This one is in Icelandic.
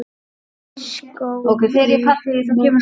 skógi vaxinn.